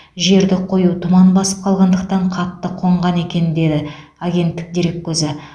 жерді қою тұман басып қалғандықтан қатты қонған екен деді агенттік дереккөзі